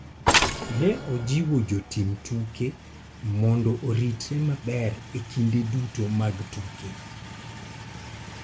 Ne ojiwo jotim tuke mondo oritre maber e kinde duto mag tuke.